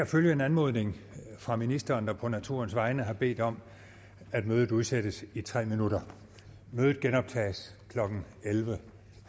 følge en anmodning fra ministeren der på naturens vegne har bedt om at mødet udsættes i tre minutter mødet genoptages klokken elleve